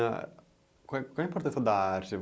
qual é qual é a importância da arte?